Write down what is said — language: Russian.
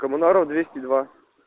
коммунаров двести два